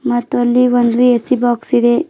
ಮತ್ತು ಅಲ್ಲಿ ಒಂದು ಎ_ಸಿ ಬಾಕ್ಸ್ ಇದೆ.